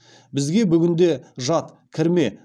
бізге бүгінде жат